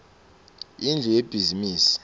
indlu yebhizimisi